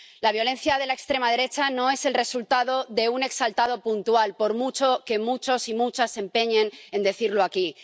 La violencia de la extrema derecha no es el resultado de un exaltado puntual, por mucho que muchos y muchas se empeñen en decirlo aquí.